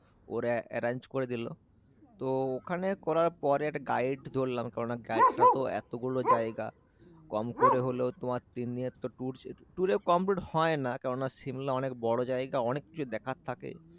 ওরা arrange করে দিল। তো ওখানে করার পর একটা গাইড ধরালাম। কেননা গাইডটা তো এত গুলো জায়গা, কম করে হলেও তোমার তিন দিনের ট্যুর তো ছিল। পুরে কমপ্লিট হয়না। কেননা সিমলা অনেক বড় জায়গা অনেক কিছু দেখার থাকে।